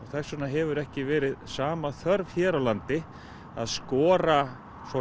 þess vegna hefur ekki verið sama þörf hér á landi að skora